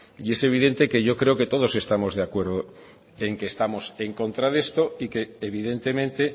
y es evidente que yo creo que todos estamos de acuerdo en que estamos en contra de esto y que evidentemente